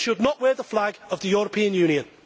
They should not wear the flag of the European Union.